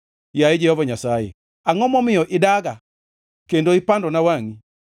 Yaye Jehova Nyasaye, angʼo momiyo idaga kendo ipandona wangʼi?